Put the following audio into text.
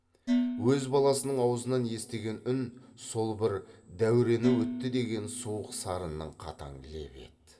өз баласының аузынан естіген үн сол бір дәуренің өтті деген суық сарынның қатаң лебі еді